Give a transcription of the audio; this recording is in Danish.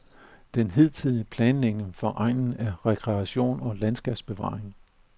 Den hidtidige planlægning for egnen er rekreation og landskabsbevaring.